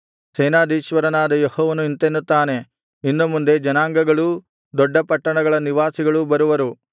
ಸೇನಾಧೀಶ್ವರನಾದ ಯೆಹೋವನು ಇಂತೆನ್ನುತ್ತಾನೆ ಇನ್ನು ಮುಂದೆ ಜನಾಂಗಗಳೂ ದೊಡ್ಡ ಪಟ್ಟಣಗಳ ನಿವಾಸಿಗಳೂ ಬರುವರು